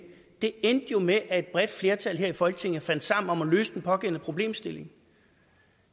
det endte jo med at et bredt flertal her i folketinget fandt sammen om at løse den pågældende problemstilling